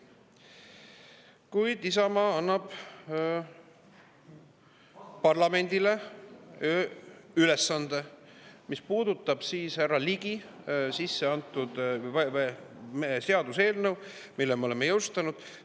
Kuid Isamaa annab parlamendile ülesande, mis puudutab härra Ligi sisse antud seaduseelnõu, mille me oleme jõustanud.